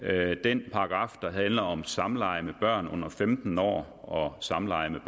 af den paragraf der handler om samleje med børn under femten år og samleje med